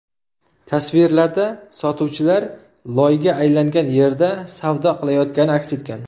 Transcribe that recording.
Tasvirlarda sotuvchilar loyga aylangan yerda savdo qilayotgani aks etgan.